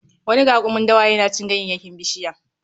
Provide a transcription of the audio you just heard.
Wani rakumin dawa yana cin ganyayyakin bishiya